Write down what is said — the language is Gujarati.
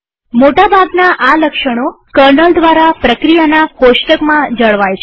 મોટા ભાગના આ લક્ષણો કર્નલ દ્વારા પ્રક્રિયાના કોષ્ટકમાં જળવાય છે